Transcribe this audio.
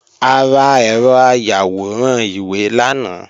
A ra ẹ̀rọ ayàwòrán ìwé lánàá